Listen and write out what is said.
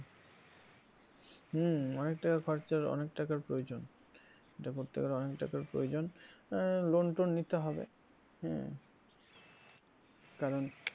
হম অনেক টাকা খরচা অনেক টাকার প্রয়োজন এটা করতে গেলে অনেক টাকার প্রয়োজন, আহ loan টোন নিতে হবে হম কারন